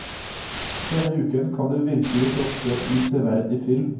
Denne uken kan du virkelig fråtse i severdig film.